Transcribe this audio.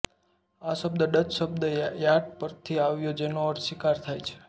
આ શબ્દ ડચ શબ્દ યાટ પરથી આવ્યો છે જેનો અર્થ શિકાર થાય છે